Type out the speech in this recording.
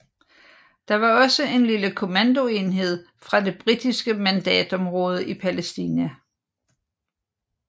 Der var også en lille kommandoenhed fra det britiske mandatområde i Palæstina